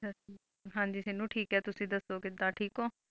ਹਾਂ ਜੀ ਠੀਕ ਤੁਸੀਂ ਦੱਸੋ ਕਿਧ ਠੀਕ ਓ